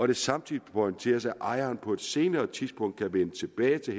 det samtidig pointeres at ejeren på et senere tidspunkt kan vende tilbage til